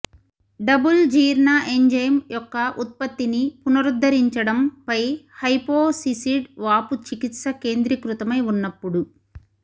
double జీర్ణ enzyme యొక్క ఉత్పత్తిని పునరుద్ధరించడం పై హైపోసిసిడ్ వాపు చికిత్స కేంద్రీకృతమై ఉన్నప్పుడు